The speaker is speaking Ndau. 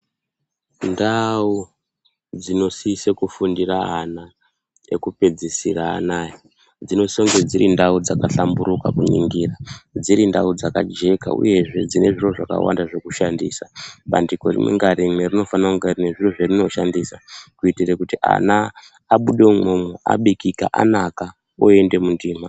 Ndau dzinosise kufundire ana, ekupedzisira anaa, dzinosise kunge dziri ndau dzakahlamburika kuningira, dziri ndau dzakajeka kuningira, uyezve dzine zviro zvakawanda zvekushandisa. Bandiko rimwe nerimwe rinofane kunge rine zviro zverinoshandisa. Kuite kuti ana abude umwomwo abikika, anaka ooende mundima.